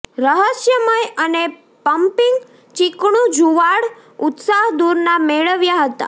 રહસ્યમય અને પંપીંગ ચીકણું જુવાળ ઉત્સાહ દૂરના મેળવ્યાં હતા